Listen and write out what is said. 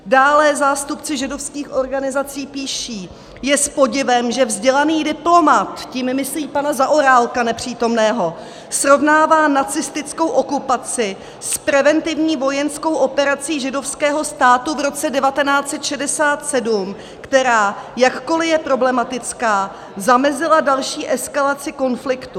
Dále zástupci židovských organizací píší: Je s podivem, že vzdělaný diplomat - tím myslí pana Zaorálka, nepřítomného - srovnává nacistickou okupaci s preventivní vojenskou operací židovského státu v roce 1967, která, jakkoli je problematická, zamezila další eskalaci konfliktu.